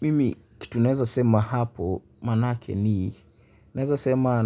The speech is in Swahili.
Mimi kitu ninaweza sema hapo maana yake ni nawezasema